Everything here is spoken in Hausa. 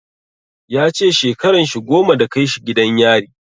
Ya ce shekaran shi goma da kai shi gidan yari.